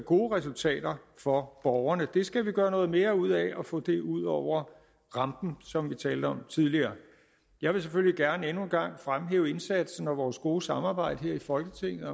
gode resultater for borgerne vi skal gøre noget mere ud af at få det ud over rampen som vi talte om tidligere jeg vil selvfølgelig gerne endnu en gang fremhæve indsatsen og vores gode samarbejde her i folketinget